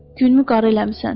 Günümü qara eləmisən.